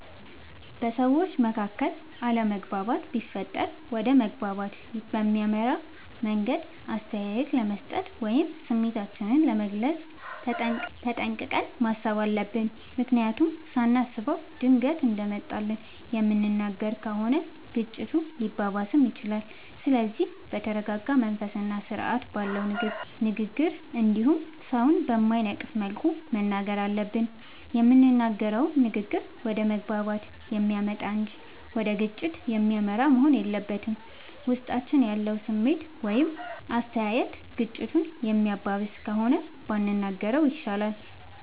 በሠዎች መካከል አለመግባባት ቢፈጠር ወደ መግባባት በሚያመራ መንገድ አስተያየት ለመስጠት ወይም ስሜታችንን ለመግለፅ ተጠንቅቀን ማሠብ አለብ። ምክንያቱም ሳናስበው ድንገት እንደመጣልን የምንናገር ከሆነ ግጭቱ ሊባባስም ይችላል። ስለዚህ በተረረጋ መንፈስና ስርአት ባለው ንግግር እንዲሁም ሠውን በማይነቅፍ መልኩ መናገር አለብን። የምንናገረውም ንግግር ወደ መግባባት የሚያመጣ እንጂ ወደ ግጭት የሚመራ መሆን የለበትም። ውስጣችን ያለው ስሜት ወይም አስተያየት ግጭቱን የሚያባብስ ከሆነ ባንናገረው ይሻላል።